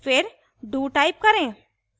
फिर do type करें